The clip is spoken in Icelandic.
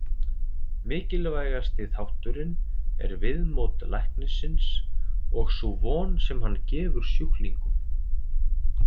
Mikilvægasti þátturinn er viðmót læknisins og sú von sem hann gefur sjúklingnum.